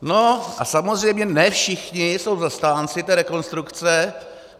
No a samozřejmě ne všichni jsou zastánci té rekonstrukce.